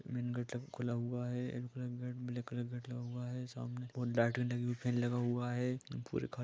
man gate खुला हुआ है एक ब्लैक कलर का गेट हुआ है सामने लाइट लगी है फैन लगा हुआ है पुरे घर में--